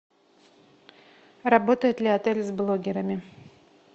работает ли отель с блогерами